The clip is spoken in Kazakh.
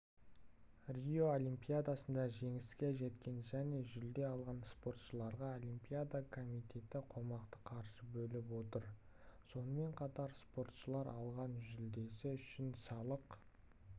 рио олимпиадасында жеңіске жеткен және жүлде алған спортшыларға олимпиада комитеті қомақты қаржы бөліп отыр сонымен қатар спортшылар алған жүлдесі үшін салық